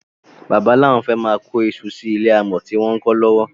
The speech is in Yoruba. Bàbá lawon fé máà kó isu sí ilé alámò tí àwon ń kó lówó.